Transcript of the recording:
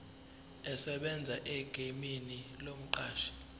esebenza egameni lomqashi